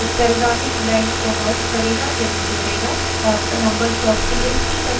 paste command files की समरूपी उत्तरगामी lines को merge करेगा यानि जोड़ेगा